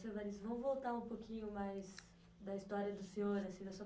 Seu, vamos voltar um pouquinho mais, da história do senhor, assim, da sua